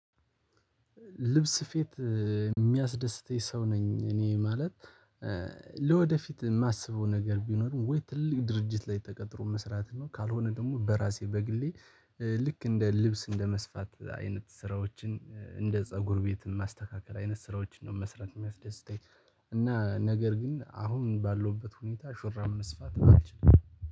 ልብስ ስፊት የሚያስደስተኝ ሰው ነኝ እኔ ማለት ለወደፊት የማስበው ነገር ቢኖርም ወይ ትልቅ ድርጅት ላይ ተቀጥሮ መስራት ነው። ካልሆነ ደግሞ በራሴ በግሌ ልክ እንደ ልብስ እንደ መስፋት አይነት ስራዎችን እንደ ፀጉር ቤት ማስተካከል አይነት ስራዎችን ነው መስራት የሚያስደስተኝ። እና ነገር ግን አሁን ባለውበት ሁኔታ ሹራብ መስፋት አልችልም።